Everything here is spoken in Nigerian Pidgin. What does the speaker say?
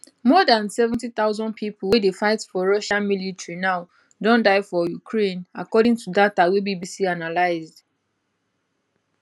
more dan 70000 pipo wey dey fight for russia military now don die for ukraine according to data wey bbc analysed